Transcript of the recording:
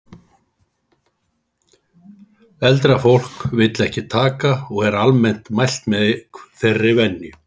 Eldra fólk vill ekki taka.og er almennt mælt með þeirri venju